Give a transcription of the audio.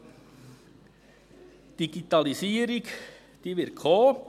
Die Digitalisierung wird kommen.